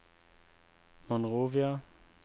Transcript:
Monrovia